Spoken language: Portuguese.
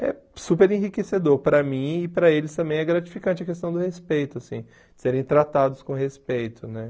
É super enriquecedor para mim e para eles também é gratificante a questão do respeito, assim, serem tratados com respeito, né?